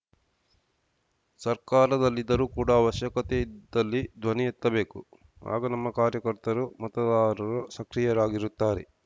ಸರ್ಕಾರದಲ್ಲಿದ್ದರೂ ಕೂಡ ಅವಶ್ಯಕತೆ ಇದ್ದಲ್ಲಿ ಧ್ವನಿ ಎತ್ತಬೇಕು ಆಗ ನಮ್ಮ ಕಾರ್ಯಕರ್ತರು ಮತದಾರರು ಸಕ್ರಿಯರಾಗಿರುತ್ತಾರೆ